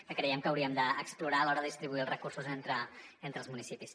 que creiem que hauríem d’explorar a l’hora de distribuir els recursos entre els municipis